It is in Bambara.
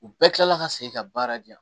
U bɛɛ kila la ka segin ka baara di yan